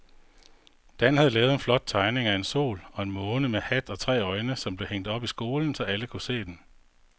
Dan havde lavet en flot tegning af en sol og en måne med hat og tre øjne, som blev hængt op i skolen, så alle kunne se den.